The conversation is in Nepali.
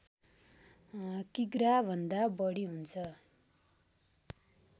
किग्रा भन्दा बढी हुन्छ